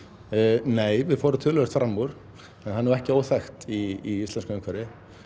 nei við fórum töluvert fram úr en það er nú ekki óþekkt í íslensku umhverfi